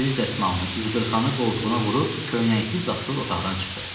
Əl-üz dəsmalını, üz qırxanı qoltuğuna vurub köynəksiz zadsız otaqdan çıxdı.